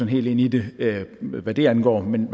helt ind i det hvad det angår men